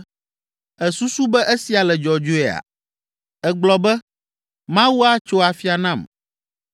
“Èsusu be esia le dzɔdzɔea? Ègblɔ be, ‘Mawu atso afia nam’